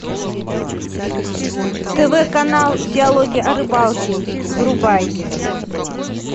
тв канал диалоги о рыбалке врубай